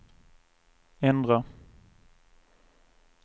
ändra